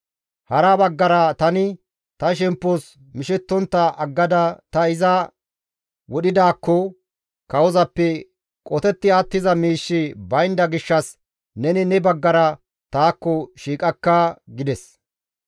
Hara baggara tani ta shemppos mishettontta aggada ta iza wodhidaakko kawozappe qotetti attiza miishshi baynda gishshas neni ne baggara taakko shiiqakka» gides.